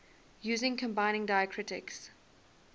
using combining diacritics